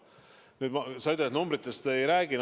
Sa ütlesid, et ma numbritest ei räägiks.